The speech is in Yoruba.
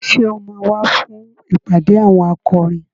Ṣé o máa wá fún ìpàdé àwọn akọrin?